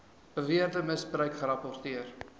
beweerde misbruik gerapporteer